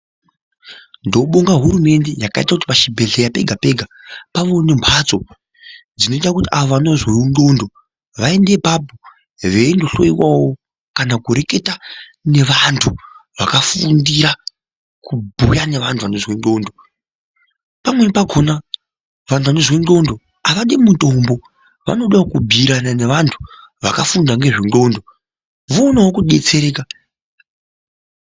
Ndobonga hurumende yakaite kuti pachibhehleya pega pega pawo nemhatso dzinoite kuti avo vanozwewonxlondo vaende apapo veindhloyiwawo kana kureketa nevanhu vakafundira kubhuya nevanhu vanozwe nxlondo pamweni pakona vanhu vanozwe nxlondo avadi mutombo vanodawo kubhuyirana nevantu vakafunda nezvenxlondo voonawo kudetsereka.